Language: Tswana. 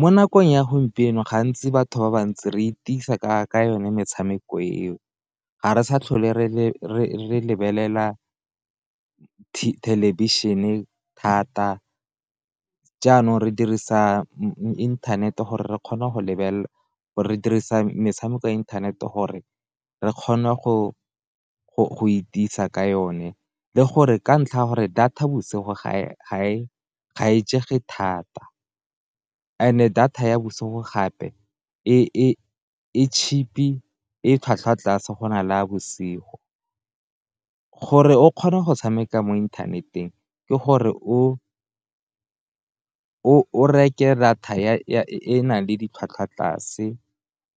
Mo nakong ya gompieno gantsi batho ba bantsi re itisa ka yone metshameko eo, ga re sa tlhole re lebelela thelebišhene thata jaanong re dirisa inthanete gore re kgona go lebelela re dirisa metshameko ya inthanete gore re kgona go itisa ka yone, le gore ka ntlha ya gore data bosigo ga e jege thata, and-e data ya bosigo gape e cheap-i e tlhwatlhwa tlase go na le ya bosigo, gore o kgona go tshameka mo inthaneteng ke gore o reke data e nang le ditlhwatlhwa tlase,